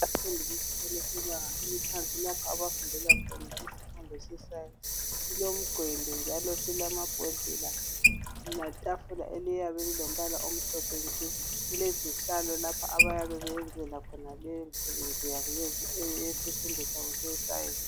Abafundi bemfundo yebanga eliphansi. Lapho abafundela khona isifundo seScience. Silomgwembe njalo silamabhodlela letafula, eliyabe lilombala omhlophe nke! Kulezihlalo lapho abayabe beyenzela khona leyomsebenzi wabo, yesifundo sabo seScience.